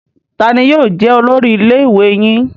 Taani yóò jẹ olórí ilé ìwé yín?